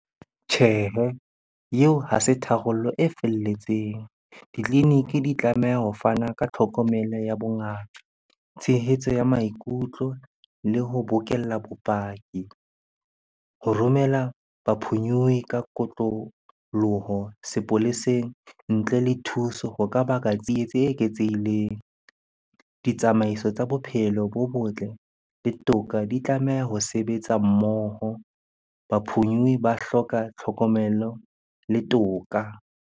Tjhehe, eo ha se tharollo e felletseng. Ditleliniki di tlameha ho fana ka tlhokomelo ya bongaka, tshehetso ya maikutlo le ho bokella bopaki. Ho romela ba phonyohi ka kotloloho sepoleseng ntle le thuso ho ka baka tsietsi e eketsehileng. Ditsamaiso tsa bophelo bo botle le toka di tlameha ho sebetsa mmoho. Ba phonyuwe ba hloka tlhokomelo le toka.